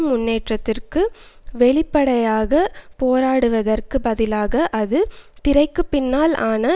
முன்னோக்கிற்கு வெளிப்படையாக போராடுவதற்குப் பதிலாக அது திரைக்கு பின்னால் ஆன